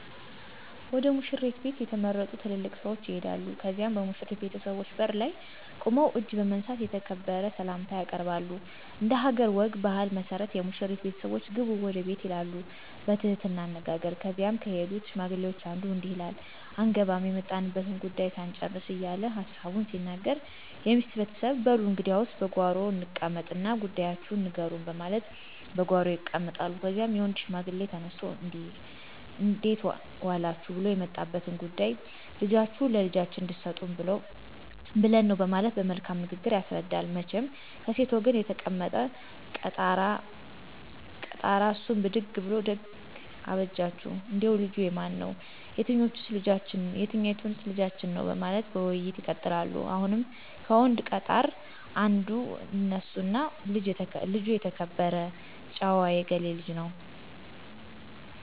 ወደ ሙሽሪት ቤት የተመረጡ ትልልቅ ሰዎች ይሄዳሉ ከዚያም በሙሽሪት ቤተሰቦች በር ላይ ቁመው እጅ በመንሳት የተከበረ ሰላምታ ያቀርባሉ። እንደሀገር ወግ ባህል መሠረት የሙሽሪት ቤተሰቦች ግቡ ወደ ቤት ይላሉ በትህትና አነጋገር ከዚያም ከሄዱት ሽማግሌዎች አንዱ እንዲህ ይላል አንገባም የመጣንበትን ጉዳዩ ሳንጭርስ እየለ ሀሳቡን ሲናገር የሚስት ቤተሰብ በሉ እንግዲያስ በጓሮ እንቀመጥ እና ጉዳያችሁን ንገሩኝ በማለት በጓሮ ይቀመጣሉ። ከዚያም የወንድ ሽማግሌ ተነስቶ እንዴት ዎላችሁ ብሉ የመጣንበት ጉዳይማ ልጃችሁን ለልጃችን እንድሰጡን ብለን ነው በማለት በመልካም ንግግር ያስረዳል። መቸም ከሴት ወገን የተቀመጠው ቀጣራ እሱም ብድግ ብሉ ደግ አበጃችሁ እንዴው ልጁ የማን ነው የትኞዎንስ ልጃችን ነው በማለት ውይይቶች ይቀጥላሉ። አሁንም ከወንድ ቀጣር አንዱ ይነሱና ልጅ የተከበረ ጭዎ የገሌ ልጅ ነው